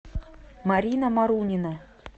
марина марунина